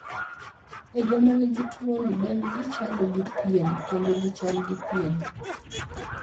E joma nigi tuwoni, dendgi chalo gi pien kendo gichal gi pien.